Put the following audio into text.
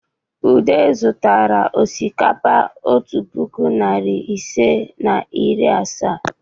Udo zụtara osikapa otu puku na narị ise na iri asaa.